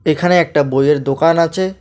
এখানে একটা বইয়ের দোকান আচে ।